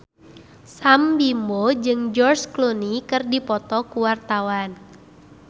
Sam Bimbo jeung George Clooney keur dipoto ku wartawan